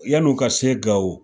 Yann'u ka se Gawo